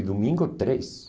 E domingo, três.